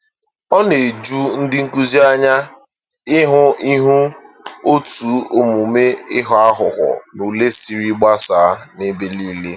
Ọ na-eju ndị nkụzi anya ịhụ ịhụ otú omume ịghọ aghụghọ n’ule siri gbasaa n'ebe nile